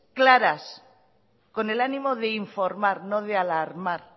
claras con el ánimo de informar no de alarmar